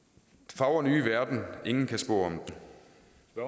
fagre nye verden ingen kan spå